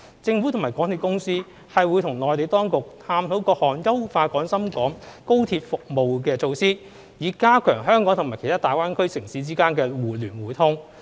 政府及港鐵公司會與內地當局探討各項優化廣深港高鐵服務的措施，以加強香港與其他大灣區城市間的互聯互通。